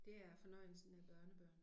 Det er fornøjelsen af børnebørn